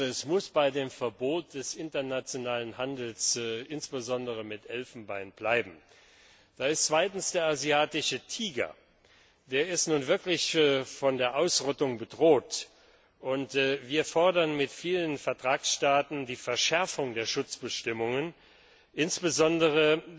Es muss bei dem Verbot des internationalen Handels, insbesondere mit Elfenbein, bleiben. Da ist zweitens der asiatische Tiger. Der ist nun wirklich von der Ausrottung bedroht, und wir fordern mit vielen Vertragsstaaten die Verschärfung der Schutzbestimmungen, insbesondere